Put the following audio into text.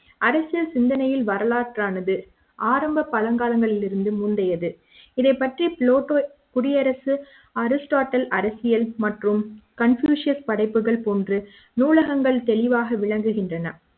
அரசியல் சிந்தனையில் வரலாற்று ஆனது ஆரம்பப் பழங்காலங்களிருந்து முந்தையது இதைப் பற்றி புளோட்டோ குடியரசு அரிஸ்டாட்டில் அரசியல் மற்றும் கன்பூசியஸ் படைப்புகள் நூலகங்கள் தெளிவாக விளங்குகின்றன